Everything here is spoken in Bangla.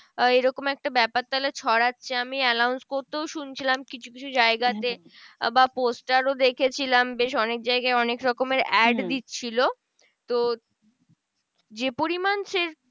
এরকম একটা ব্যাপার তাহলে ছড়াচ্ছে আমি announce করতেও শুনছিলাম কিছু কিছু জায়গাতে। বা poster ও দেখেছিলাম বেশ অনেক জায়গায় অনেক রকমের add দিচ্ছিলো। তো যে পরিমান সেটা